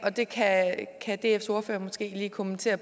og det kan kan dfs ordfører måske lige kommentere